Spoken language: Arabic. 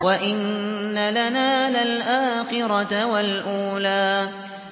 وَإِنَّ لَنَا لَلْآخِرَةَ وَالْأُولَىٰ